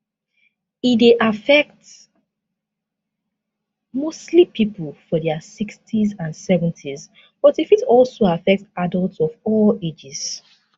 e dey affect mostly pipo for dia 60s and 70s but e fit also affect adults of all ages